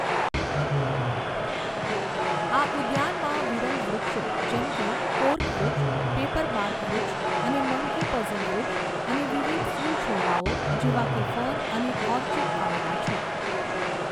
આ ઉદ્યાનમાં વિરલ વૃક્ષો જેમ કે કોર્ક વૃક્ષ પેપરબાર્ક વૃક્ષ અને મંકી પઝલ વૃક્ષ અને વિવિધ ફૂલ છોડવાઓ જેવા કે ફર્ન અને ઓર્ચિડ આવેલા છે.